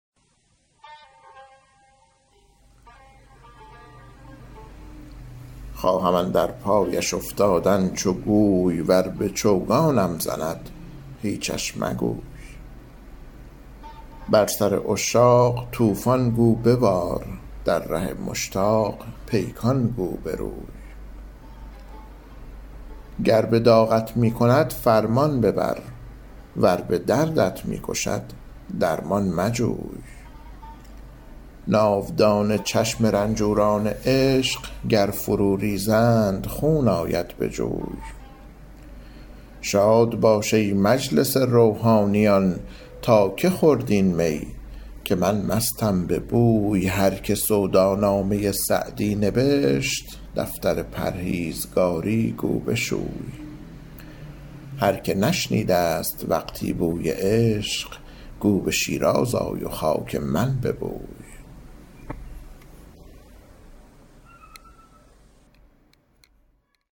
خواهم اندر پایش افتادن چو گوی ور به چوگانم زند هیچش مگوی بر سر عشاق طوفان گو ببار در ره مشتاق پیکان گو بروی گر به داغت می کند فرمان ببر ور به دردت می کشد درمان مجوی ناودان چشم رنجوران عشق گر فرو ریزند خون آید به جوی شاد باش ای مجلس روحانیان تا که خورد این می که من مستم به بوی هر که سودا نامه سعدی نبشت دفتر پرهیزگاری گو بشوی هر که نشنیده ست وقتی بوی عشق گو به شیراز آی و خاک من ببوی